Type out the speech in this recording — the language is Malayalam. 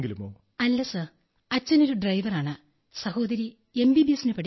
no sir my father is a driver but my sister is studying in MBBS sir